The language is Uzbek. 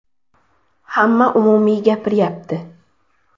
Hamma umumiy gapiryapti.